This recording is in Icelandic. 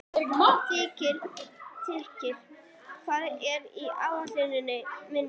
Þiðrik, hvað er á áætluninni minni í dag?